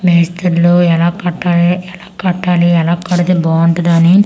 మిస్తీర్లు ఎలా కట్టాలి ఎలా కట్టాలి ఎలా కడితే బావుంటదొ అని --